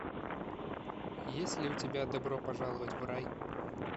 есть ли у тебя добро пожаловать в рай